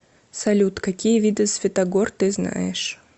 салют какие виды святогор ты знаешь